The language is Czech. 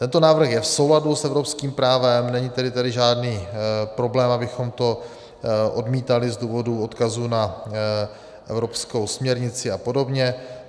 Tento návrh je v souladu s evropským právem, není tedy tady žádný problém, abychom to odmítali z důvodu odkazu na evropskou směrnici a podobně.